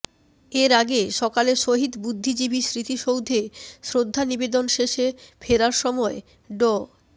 এর আগে সকালে শহীদ বুদ্ধিজীবী স্মৃতিসৌধে শ্রদ্ধা নিবেদন শেষে ফেরার সময় ড